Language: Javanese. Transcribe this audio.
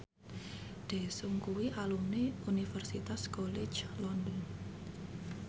Daesung kuwi alumni Universitas College London